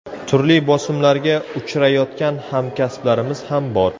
Turli bosimlarga uchrayotgan hamkasblarimiz ham bor.